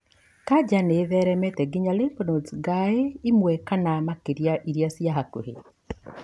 kanca nĩ ĩtheremete nginya lymph nodes ĩmwe kana makĩria iria cia hakuhĩ.